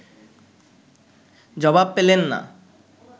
জবাব পেলেন না